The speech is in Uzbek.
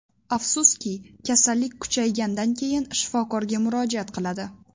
Afsuski, kasallik kuchaygandan keyin shifokorga murojaat qiladi.